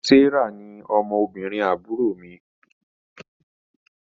Serah ní ọmọ obìrin àbúrò mí